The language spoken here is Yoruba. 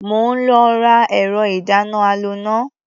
Mò ń lọ ra ẹ̀rọ-ìdáná-aloná.